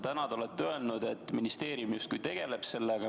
Täna te ütlesite, et ministeerium justkui tegeleb sellega.